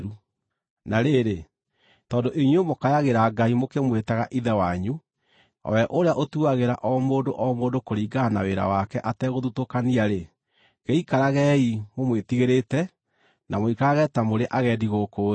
Na rĩrĩ, tondũ inyuĩ mũkayagĩra Ngai mũkĩmwĩtaga Ithe wanyu, o we ũrĩa ũtuagĩra o mũndũ o mũndũ kũringana na wĩra wake ategũthutũkania-rĩ, gĩikaragei mũmwĩtigĩrĩte na mũikarage ta mũrĩ agendi gũkũ thĩ.